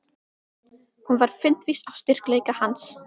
Hún var fundvís á styrkleika hans.